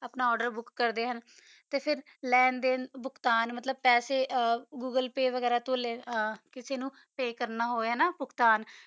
ਆਪਣਾ order book ਕਰਦਾ ਆ ਤਾ ਫਿਰ ਲਾਂ ਦਾਨ ਪਾਸ੍ਸਾ ਵਗੈਰਾ ਮਤਲਬ ਗੂਲੇ ਪੀ ਯਾ ਕਾਸਾ ਨੂ ਪੀ ਕਰਨਾ ਹੋਵਾ